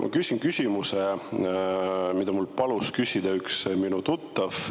Ma küsin küsimuse, mida mul palus küsida üks minu tuttav.